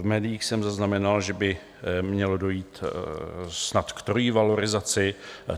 V médiích jsem zaznamenal, že by mělo dojít snad k trojí valorizaci.